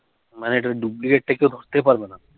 মানে এটা duplicate পারবো না